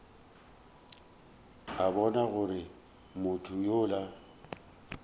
a bona gore motho yola